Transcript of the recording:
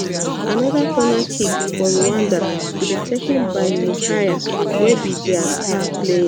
anoda corner kick for rwanda to be taken by muhire wey be dia star player